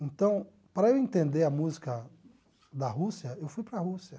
Então, para eu entender a música da Rússia, eu fui para a Rússia.